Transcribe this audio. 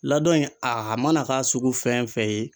Laadon in a mana k'a sugu fɛn o fɛn ye